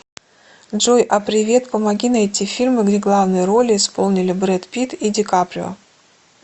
джой а привет помоги найти фильмы где главные роли исполнили брэд питт и дикаприо